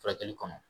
Furakɛli kɔnɔ